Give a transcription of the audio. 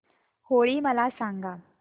होळी मला सांगा